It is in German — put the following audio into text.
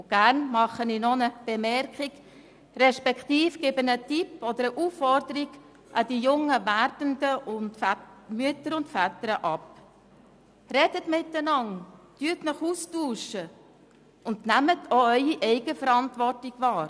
Gerne mache ich noch eine Bemerkung beziehungsweise gebe einen Tipp an die jungen werdenden Mütter und Väter: Sprecht miteinander, tauscht euch aus und nehmt auch eure Eigenverantwortung wahr.